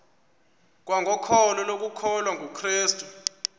kwangokholo lokukholwa kukrestu